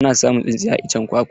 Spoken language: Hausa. Ana samun tsintsiya a iccen kwakwa.